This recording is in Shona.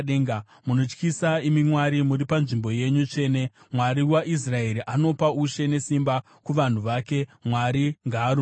Munotyisa imi Mwari, muri panzvimbo yenyu tsvene; Mwari waIsraeri anopa ushe nesimba kuvanhu vake. Mwari ngaarumbidzwe!